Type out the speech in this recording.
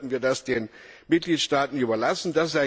Oder sollten wir das den Mitgliedstaaten überlassen?